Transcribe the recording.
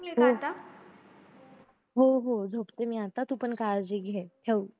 हो हो हो झोपते मी आता तू पण काळजी घे